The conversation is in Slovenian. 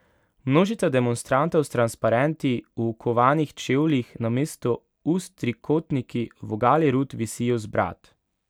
Množica demonstrantov s transparenti, v okovanih čevljih, namesto ust trikotniki, vogali rut visijo z brad.